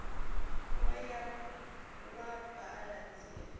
wo ya wa baṱa nzie